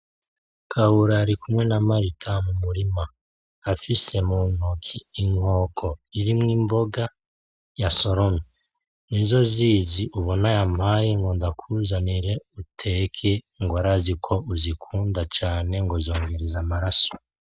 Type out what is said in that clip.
Kabura arikumwe na Marita mu murima afise mu ntoki inkoko irimwo imboga yasoromye, nizo zizi ubona yampaye ngo ndakuzanire uteke ngo arazi ko uzikunda cane ngo zongereza amaraso.